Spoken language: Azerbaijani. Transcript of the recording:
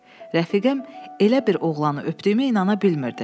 Rəfiqəm elə bir oğlanı öpdüyümə inana bilmirdi.